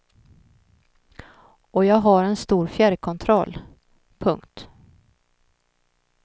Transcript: Och jag har en stor fjärrkontroll. punkt